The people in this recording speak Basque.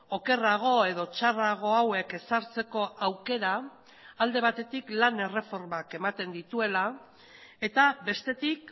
okerrago edo txarrago hauek ezartzeko aukera alde batetik lan erreformak ematen dituela eta bestetik